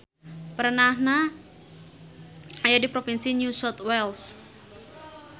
Perenahna aya di provinsi New South Wales.